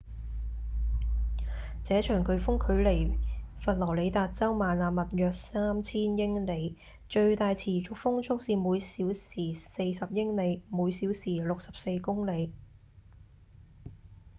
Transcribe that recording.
這場颶風距離佛羅里達州邁阿密約三千英里最大持續風速是每小時40英里每小時64公里